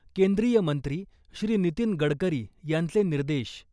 केंद्रीय मंत्री श्री .नितीन गडकरी यांचे निर्देश .